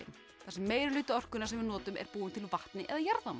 þar sem meiri hluti orkunnar sem við notum er búinn til úr vatni eða jarðvarma